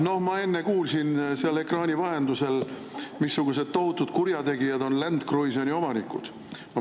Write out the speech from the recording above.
No ma enne kuulsin seal ekraani vahendusel, missugused tohutud kurjategijad on Land Cruiseri omanikud.